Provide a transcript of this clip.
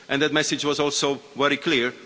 That message was also very clear.